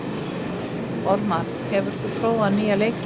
Ormar, hefur þú prófað nýja leikinn?